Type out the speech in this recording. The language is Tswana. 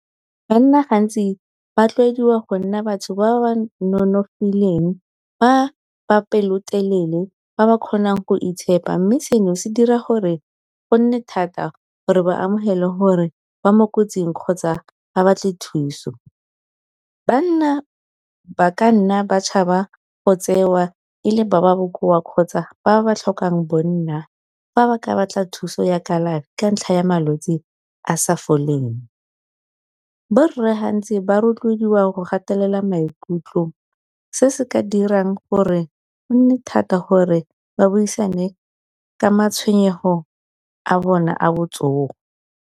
Banna gantsi ba tlwaediwa go nna batho ba ba nonofileng ba pelotelele ba ba kgonang go itshepa mme seno se dira gore go nne thata gore ba amogele gore ba mo kotsing kgotsa ba batle thuso. Banna ba ka nna ba go tsewa ele ba ba bokoa kgotsa ba ba tlhokang bonna, fa ba ka batla thuso ya kalafi ka ntlha ya malwetsi a sa foleng, bo rre gantsi ba rotloediwa go gatelela maikutlo se se ka dirang gore o nne thata gore ba buisane ka matshwenyego a bone a botsogo.